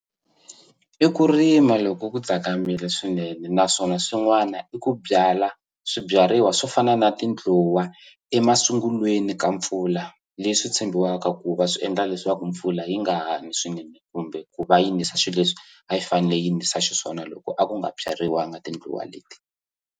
I ku rima loko ku tsakamile swinene naswona swin'wana i ku byala swibyariwa swo fana na tindluwa emasungulweni ka mpfula leswi tshembiwaka ku va swi endla leswaku mpfula yi nga ha ni swinene kumbe ku va nisa xi leswi a yi fanele yi nisa xiswona loko a ku nga byeriwangi tindluwa leti.